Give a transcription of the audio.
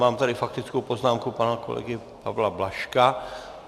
Mám tady faktickou poznámku pana kolegy Pavla Blažka.